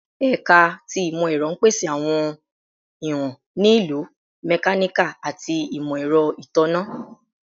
Ẹka ti Imọ-ẹrọ n pese awọn iwọn ni Ilu, Mechanical, ati Imọ-ẹrọ Itanna